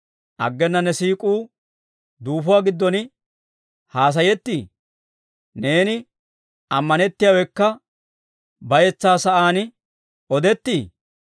Aggena ne siik'uu duufuwaa giddon haasayettii? neeni ammanettiyaawekka bayetsaa sa'aan odettii?